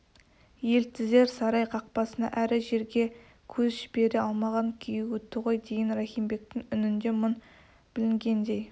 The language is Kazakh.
елтізер сарай қақпасына әрі жерге көз жібере алмаған күйі өтті ғой деген рахим бектің үнінде мұң білінгендей